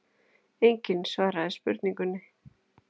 Enginn svaraði spurningunni.